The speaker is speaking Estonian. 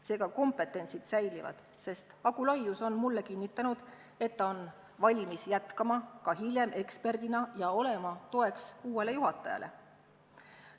Seega, kompetentsid säilivad, sest Agu Laius on mulle kinnitanud, et ta on valmis jätkama ka hiljem eksperdina ja olema toeks uuele juhatajale.